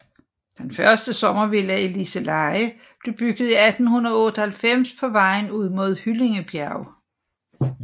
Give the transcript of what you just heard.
Den første sommervilla i Liseleje blev bygget i 1898 på vejen ud mod Hyllingebjerg